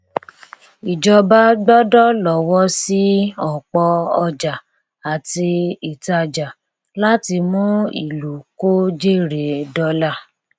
ìjọba gbọdọ lọwọ sí ọpọ ọjà àti ìtajà láti mú ìlú kò jèrè dọlà